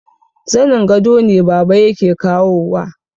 Zanin gado ne baba yake kawowa